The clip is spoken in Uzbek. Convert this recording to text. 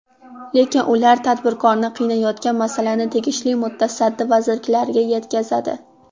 Lekin ular tadbirkorni qiynayotgan masalani tegishli mutasaddi vazirliklarga yetkazadi.